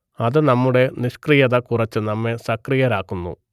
അത് നമ്മുടെ നിഷ്ക്രിയത കുറച്ച് നമ്മെ സക്രിയരാക്കുന്നു